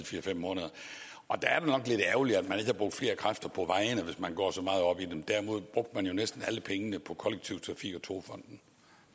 fire fem måneder og der er det nok lidt ærgerligt at man har brugt flere kræfter på vejene hvis man går så meget op i dem derimod brugte man jo næsten alle pengene på kollektiv trafik og togfonden